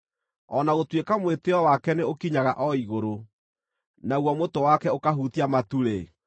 O na gũtuĩka mwĩtĩĩo wake nĩ ũkinyaga o igũrũ, naguo mũtwe wake ũkahutia matu-rĩ,